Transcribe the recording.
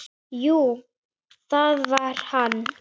Jú, það var hann!